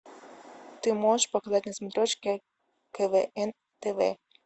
ты можешь показать на смотрешке квн тв